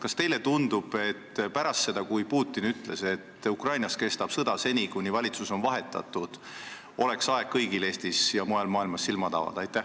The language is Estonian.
Kas teile ei tundu, et pärast seda, kui Putin ütles, et Ukrainas kestab sõda seni, kuni valitsus on vahetatud, oleks kõigil Eestis ja mujal maailmas aeg silmad avada?